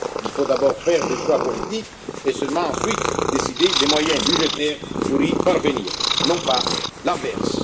Il faut d'abord faire des choix politiques et seulement ensuite décider des moyens budgétaires pour y parvenir, et non pas l'inverse.